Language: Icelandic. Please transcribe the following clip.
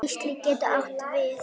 Geisli getur átt við